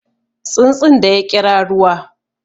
Tsuntsun da ya ƙira ruwa